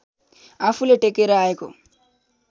आफूले टेकेर आएको